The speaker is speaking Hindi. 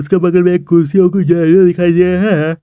उसके बगल एक कुर्सी होगी दिखाई दे रहा है।